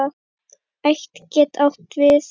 Ætt getur átt við